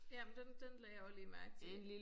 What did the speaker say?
Ja men den den lagde jeg også lige mærke til